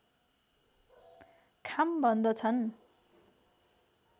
खाम भन्दछन्